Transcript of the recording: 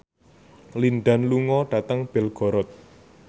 Lin Dan lunga dhateng Belgorod